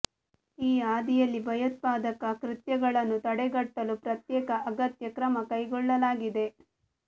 ಈ ಹಾದಿಯಲ್ಲಿ ಭಯೋತ್ಪಾದಕ ಕೃತ್ಯಗಳನ್ನು ತಡೆಗಟ್ಟಲು ಪ್ರತ್ಯೇಕ ಅಗತ್ಯ ಕ್ರಮ ಕೈಗೊಳ್ಳಲಾಗಿದೆ